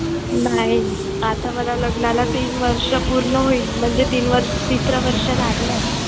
नाही आता मला लग्नाला तीन वर्ष पूर्ण होईल म्हणजे तीन वर्ष तिसरं वर्ष लागलंय.